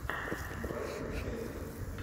брайтон эвертон